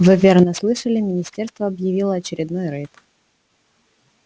вы верно слышали министерство объявило очередной рейд